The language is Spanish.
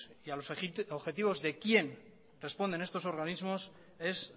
y a los objetivos de quién responden estos organismos es